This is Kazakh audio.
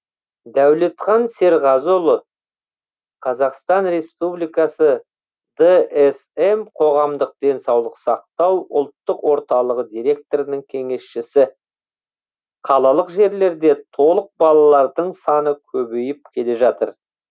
дәулетхан серғазыұлы қазақстан республикасы дсм қоғамдық денсаулық сақтау ұлттық орталығы директорының кеңесшісі қалалық жерлерде толық балалардың саны көбейіп келе жатыр